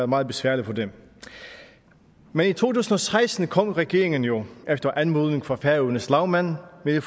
meget besværligt for dem men i to tusind og seksten kom regeringen jo efter anmodning fra færøernes lagmand med